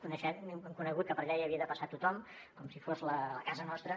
hem conegut que per allà hi havia de passar tothom com si fos la casa nostra